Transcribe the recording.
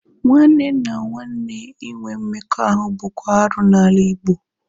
Nwanne na nwanne ịnwe mmekọahụ bụkwa arụ n'ala Igbo